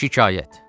Şikayət.